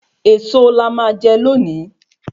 Èso la má jè loni